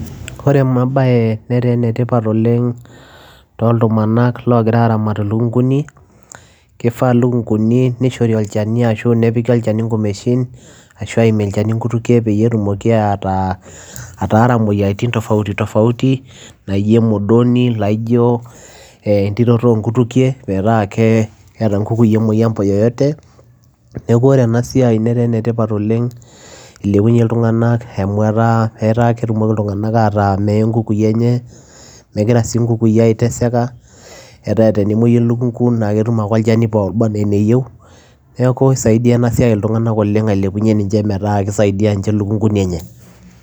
Ore ema baye netaa ene tipat oleng' tooltumanak loogira aaramat ilukung'uni, kifaa lukung'uni nishori olchani ashu nepiki olchani ing'umeshin ashu aimie olchani inkutukie peyie etumoki ataa ataara moyiaritin tofauti tofauti naijo emodoni, laijo ee entiroto oo nkutukie metaa ke keeta nkukui emoyian po yoyote. Neeku ore ena siai netaa ene tipat oleng' ilepunye iltung'anak amu etaa etaa ketumoki iltung'anak ataa mee nkukui enye, megira sii nkukui aiteseka, etaa tenemuoiyu elukung'u naake etum ake olchani eneyau. Neeku isaidia ena siai iltung'anak oleng' ailepunye ninche metaa kisaidia nche ilukung'uni enye.